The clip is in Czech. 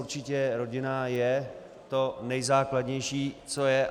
Určitě rodina je to nejzákladnější, co je.